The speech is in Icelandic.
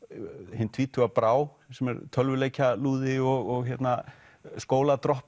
hin tvítuga Brá sem er tölvuleikjalúði og skóla drop